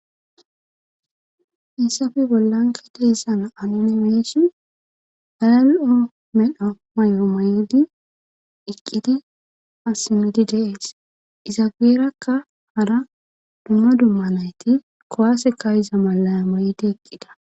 issafe bollanki dehissana anuni meesi halal7o medha may7o may7di iqqidi asimidi dees izaabeerakka hara dumma dumma nayti kowaase kayiza malaya maydi eqqida